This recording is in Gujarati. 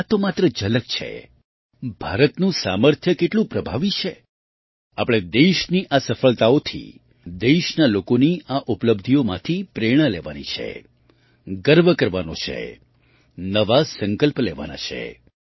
આ તો માત્ર ઝલક છે ભારતનું સામર્થ્ય કેટલું પ્રભાવી છે આપણે દેશની આ સફળતાઓથી દેશના લોકોની આ ઉપલબ્ધિઓમાંથી પ્રેરણા લેવાની છે ગર્વ કરવાનો છે નવા સંકલ્પ લેવાના છે